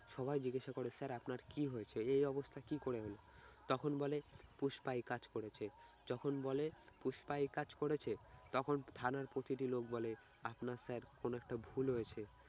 সবাই জিজ্ঞাসা করে sir আপনার কি হয়েছে? এই অবস্থা কি করে হলো? তখন বলে পুষ্পা এই কাজ করেছে, যখন বলে পুষ্পা এ কাজ করেছে তখন থানার প্রতিটি লোক বলে আপনার sir কোনো একটা ভুল হয়েছে